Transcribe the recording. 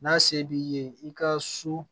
N'a se b'i ye i ka so